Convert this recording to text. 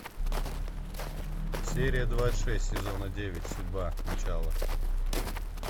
серия двадцать шесть сезона девять судьба начало